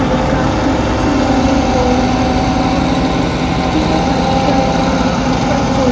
ने का कुर्सी है बोर्ड लगा हुआ है ये बच्चा का वहां पर--